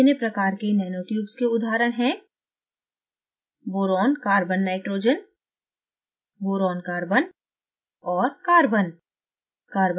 भिन्नभिन्न प्रकार के nanotubes के उदाहरण हैं: boron carbon nitrogen boron carbon और carbon